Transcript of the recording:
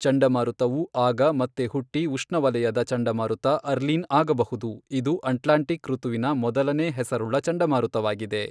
ಚಂಡಮಾರುತವು ಆಗ ಮತ್ತೆ ಹುಟ್ಟಿ ಉಷ್ಣವಲಯದ ಚಂಡಮಾರುತ ಅರ್ಲೀನ್ ಆಗಬಹುದು, ಇದು ಅಟ್ಲಾಂಟಿಕ್ ಋತುವಿನ ಮೊದಲನೆಯ ಹೆಸರುಳ್ಳ ಚಂಡಮಾರುತವಾಗಿದೆ.